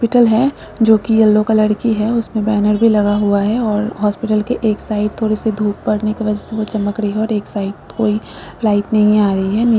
है जो की येलो कलर की है उसमें बैनर भी लगा हुआ है और हसपिटाल के एक साइड थोड़े से धूप पड़ने की वजह से वह चमक रही है और एक साइड कोई लाइक नहीं आ रही है।